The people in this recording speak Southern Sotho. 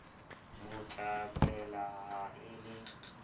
mo tlatsela ha e le